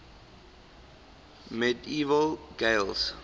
medieval gaels